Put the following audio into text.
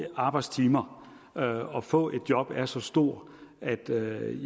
arbejdstimer og få et job er så stor at der